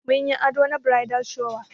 Mun yi ado na bridal shower.